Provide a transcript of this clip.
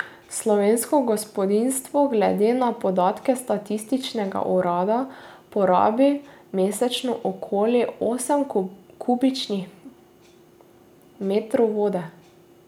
Slovensko gospodinjstvo glede na podatke statističnega urada porabi mesečno okoli osem kubičnih metrov vode.